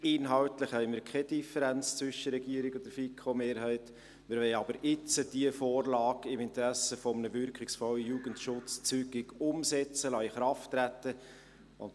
Inhaltlich besteht keine Differenz zwischen der Regierung und der FiKo-Mehrheit, wir wollen aber jetzt diese Vorlage im Interesse eines wirkungsvollen Jugendschutzes zügig umsetzen und in Kraft treten lassen.